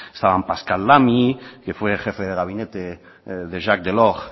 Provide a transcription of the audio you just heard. estaban pascal lamy que fue jefe de gabinete de jacques delors